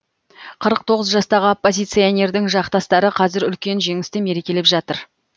қырық тоғыз жастағы оппозиционердің жақтастары қазір үлкен жеңісті мерекелеп жатыр